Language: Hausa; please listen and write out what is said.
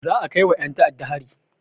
Za a kaiwa ƴen ta'adda hari.